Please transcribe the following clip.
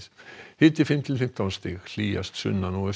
hiti fimm til fimmtán stig hlýjast sunnan og